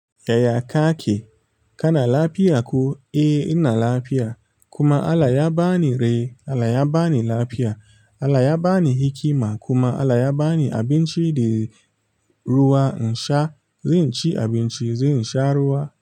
Yaya ka ake? Kana lafiya ko? Eh ina lafiya kuma Allah ya ba ni rai, Allah ya ba ni lafiya, Allah ya ba ni hikima kuma Allah ya ba ni abinci da ruwa in sha. Zai ci abinci, zan sha ruwa.